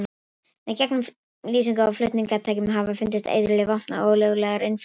Með gegnumlýsingu á flutningatækjum hafa fundist eiturlyf, vopn og ólöglegir innflytjendur.